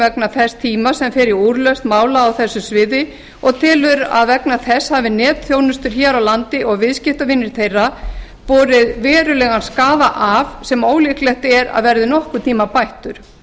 vegna þess tíma sem fer í úrlausn mála á þessu sviði og telur að vegna þess hafi netþjónustur hér á landi og viðskiptavinir þeirra borið verulegan skaða af sem ólíklegt er að verði nokkurn tíma bættur